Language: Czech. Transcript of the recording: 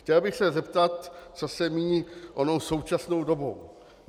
Chtěl bych se zeptat, co se míní onou současnou dobou.